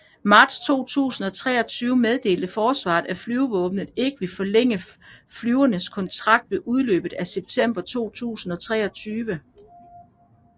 Marts 2023 meddelte Forsvaret at Flyvevåbnet ikke vil forlænge flyenes kontrakt ved udløbet i September 2023